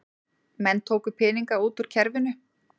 Menn tóku peninga út úr kerfinu